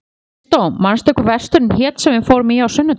Kristó, manstu hvað verslunin hét sem við fórum í á sunnudaginn?